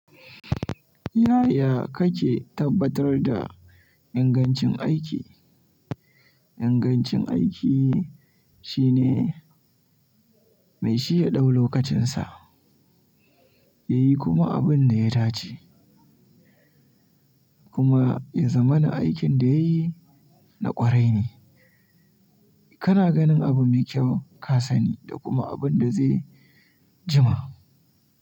Yaya kake tabbatar da ingancin aiki? Ingancin aiki shine mai shi ya ɗau lokacinsa, ya yi kuma abin da ya dace kuma ya zama na aikin da yayi na kwarai ne. Kana ganin abu mai kyau ka sani da kuma abin da zai jima.